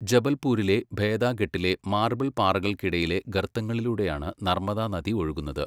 ജബൽപൂരിലെ ഭേദാഘട്ടിലെ മാർബിൾപ്പാറകൾക്കിടയിലെ ഗർത്തങ്ങളിലൂടെയാണ് നർമ്മദാനദി ഒഴുകുന്നത്.